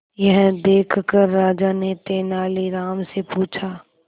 यह देखकर राजा ने तेनालीराम से पूछा